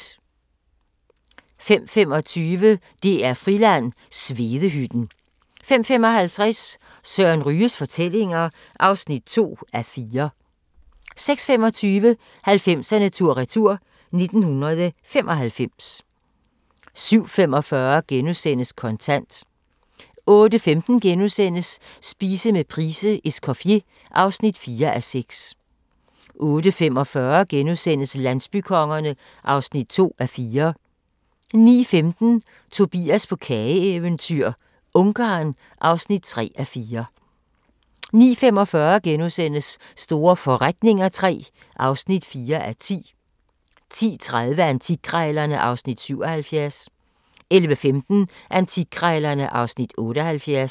05:25: DR-Friland: Svedehytten 05:55: Søren Ryges fortællinger (2:4) 06:25: 90'erne tur-retur: 1995 07:45: Kontant * 08:15: Spise med Price:"Escoffier" (4:6)* 08:45: Landsbykongerne (2:4)* 09:15: Tobias på kageeventyr – Ungarn (3:4) 09:45: Store forretninger III (4:10)* 10:30: Antikkrejlerne (Afs. 77) 11:15: Antikkrejlerne (Afs. 78)